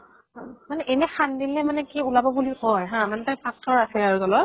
মানে এনেই খান্দিলে মানে কি ওলাব বুলি কয় হা মানে তাত পাথৰ ৰাখে আৰু তলত ।